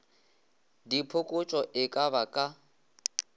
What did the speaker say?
diphokotšo e ka ba ka